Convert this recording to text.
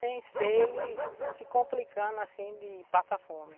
Sem ser ele se complicando assim de passar fome.